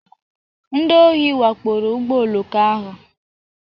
Ndị ohi wakporo ụgbọ oloko ahụ.